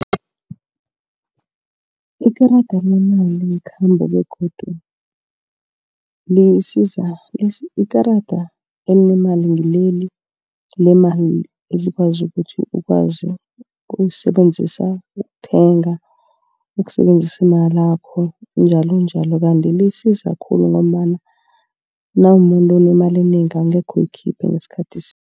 Ikarada lemali ngekhambo begodu lisiza. Ikarada elinemali ngileli lemali elikwazi ukuthi ukwazi ukulisebenzisa ukuthenga. Ukusebenzisa imalakho njalonjalo, kanti lisiza khulu ngombana nawumumuntu onemali enengi angekhe uyikhiphe ngesikhathi sinye.